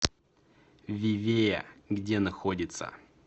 вивея где находится